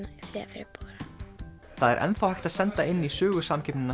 febrúar það er enn þá hægt að senda inn í